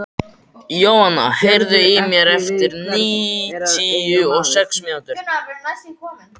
Jóanna, heyrðu í mér eftir níutíu og sex mínútur.